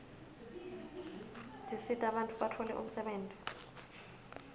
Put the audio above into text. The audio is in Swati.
tisita bantfu batfole umsebenti